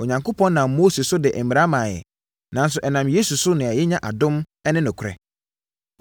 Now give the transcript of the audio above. Onyankopɔn nam Mose so de mmara maa yɛn, nanso ɛnam Yesu so na yɛnyaa adom ne nokorɛ.